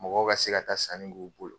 Mɔgɔw ka se ka taa sanni k'u bolo